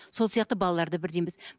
сол сияқты балалар да бірдей емес